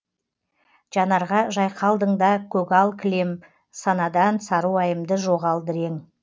жанарға жайқалдың да көгал кілем санадан саруайымды жоғалды ірең